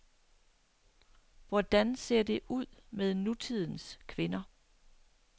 Hvordan ser det ud med nutidens kvinder.